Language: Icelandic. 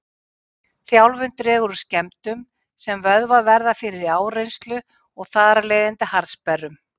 Þjálfun dregur úr skemmdum sem vöðvar verða fyrir í áreynslu og þar af leiðandi harðsperrum.